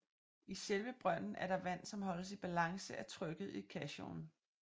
I selve brønden er der vand som holdes i balance af trykket i caissonen